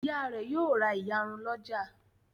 Ìyá rẹ̀ yóò ra ìyarun lọ́jà.